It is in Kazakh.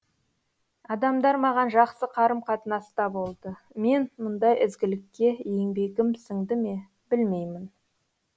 адамдар маған жақсы қарым қатынаста болды мен мұндай ізгілікке еңбегім сіңді ме білмеймін